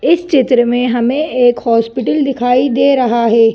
इस चित्र में हमें एक हॉस्पिटल दिखाई दे रहा हैं।